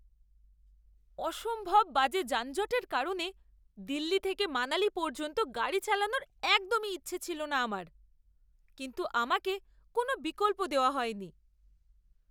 অসম্ভব বাজে যানজটের কারণে দিল্লি থেকে মানালী পর্যন্ত গাড়ি চালানোর একদম ইচ্ছে ছিল না আমার, কিন্তু আমাকে কোনও বিকল্প দেওয়া হয়নি!